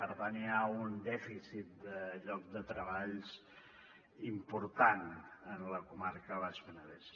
per tant hi ha un dèficit de llocs de treball important en la comarca del baix penedès